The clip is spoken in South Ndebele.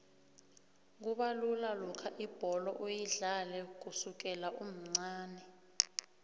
kubalula lokha ibholo uyidlale kusukela umncani